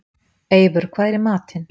Eivör, hvað er í matinn?